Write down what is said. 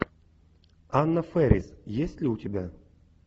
анна фэрис есть ли у тебя